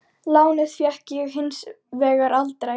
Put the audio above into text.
Lánið fékk ég hins vegar aldrei.